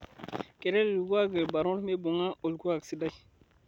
Keret lkuaki lbarnot mmeibung'a olkuak sidai